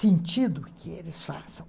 sentido que eles façam.